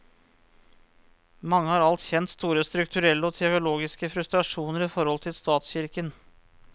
Mange har alt kjent store strukturelle og teologiske frustrasjoner i forhold til statskirken.